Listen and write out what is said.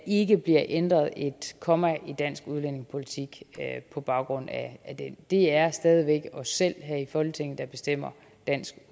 ikke bliver ændret et komma i dansk udlændingepolitik på baggrund af den det er stadig væk os selv her i folketinget der bestemmer dansk